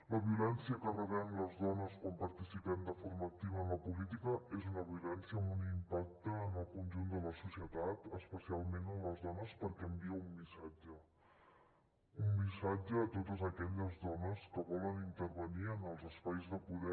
la violència que rebem les dones quan participem de forma activa en la política és una violència amb un impacte en el conjunt de la societat especialment en les dones perquè envia un missatge un missatge a totes aquelles dones que volen intervenir en els espais de poder